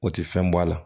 O tɛ fɛn bɔ a la